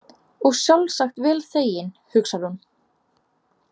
Og sjálfsagt vel þeginn, hugsar hún.